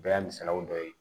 Bɛɛ y'a misaliyaw dɔ ye